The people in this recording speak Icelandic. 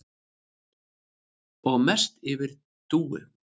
Og mest yfir Dúu.